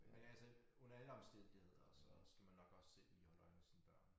Men altså under alle omstændigheder så skal man nok også selv lige holde øje med sine børn